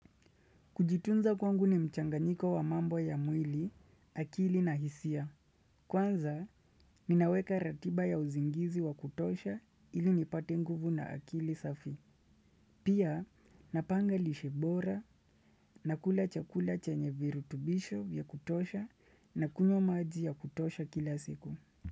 Kujitunza kwangu ni mchanganiko wa mambo ya mwili, akili na hisia. Kwanza, ninaweka ratiba ya usingizi wa kutosha ili nipate nguvu na akili safi. Pia, napanga lishe bora na kula chakula chenye virutubisho vya kutosha na kunywa maji ya kutosha kila siku.